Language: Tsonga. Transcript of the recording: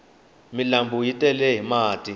milambu yi tele hi mati